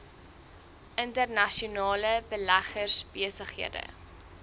internasionale beleggers besighede